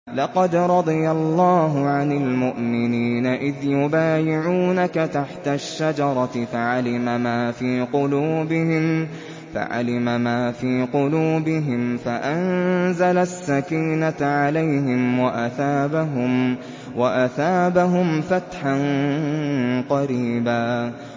۞ لَّقَدْ رَضِيَ اللَّهُ عَنِ الْمُؤْمِنِينَ إِذْ يُبَايِعُونَكَ تَحْتَ الشَّجَرَةِ فَعَلِمَ مَا فِي قُلُوبِهِمْ فَأَنزَلَ السَّكِينَةَ عَلَيْهِمْ وَأَثَابَهُمْ فَتْحًا قَرِيبًا